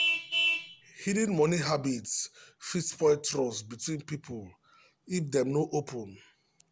hidden money habits fit spoil trust between people if dem no open.